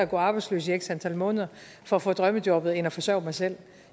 gå arbejdsløs i x antal måneder for at få drømmejobbet end at forsørge sig selv